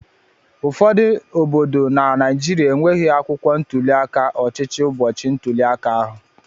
Ụfọdụ obodo na Naijiriia enweghị akwụkwọ ntuli aka ọchịchị ụbọchị ntuli aka ahụ.